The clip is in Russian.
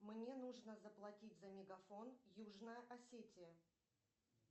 мне нужно заплатить за мегафон южная осетия